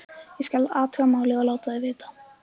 Ég: skal athuga málið og láta þig vita